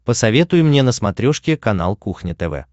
посоветуй мне на смотрешке канал кухня тв